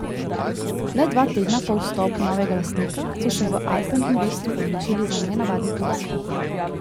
Le dva tedna po vstopu novega lastnika so se v Alpen Investu odločili za nenavadni posel.